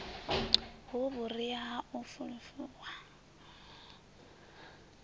hu vhuria ha u fulufhuwa